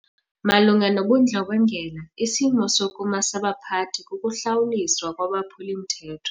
Malunga nobundlobongela isimo sokuma sabaphathi kukuhlawuliswa kwabaphuli-mthetho.